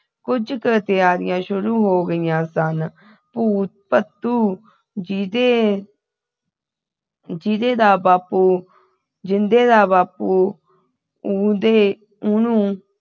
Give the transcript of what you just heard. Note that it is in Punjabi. ਕੁਝ ਕੁ ਤਿਆਰੀਆਂ ਸ਼ੁਰੂ ਹੋ ਗਿਆ ਸਨ ਭੂਤ ਭੱਤੂ ਜਿਦੇ ਜਿਦੇ ਦਾ ਬਾਪੂ ਜਿੰਦੇ ਦਾ ਬਾਪੂ ਉਹਦੇ ਉਹਨੂੰ